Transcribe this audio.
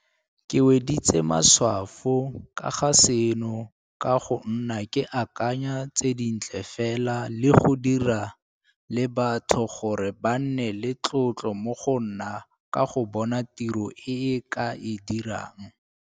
Ke weditse matshwafo ka ga seno ka go nna ke akanya tse di ntle fela le go dira le batho gore ba nne le tlotlo mo go nna ka go bona tiro e ke a e dirang.